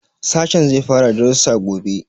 Sashen zai fara darussa gobe.